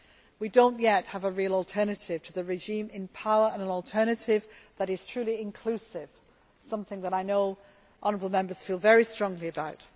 We do not yet have a real alternative to the regime in power and an alternative that is truly inclusive, something that I know that honourable Members feel very strongly about.